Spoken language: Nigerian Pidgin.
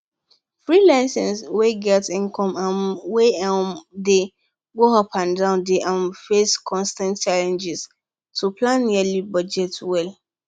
freelancers wey get income um wey um dey go up and down dey um face constant challenge to plan yearly budget well